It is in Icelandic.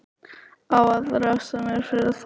Á að refsa mér fyrir það?